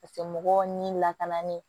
Paseke mɔgɔw ni lakanalen